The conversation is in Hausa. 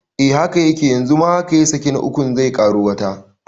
Eh haka yake yanzu ma haka ya saki ta ukun zai ƙaro wata